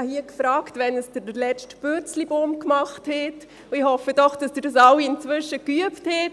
einmal gefragt, wann Sie den letzten Purzelbaum geschlagen haben, und hoffe doch, dass Sie dies inzwischen alle geübt haben.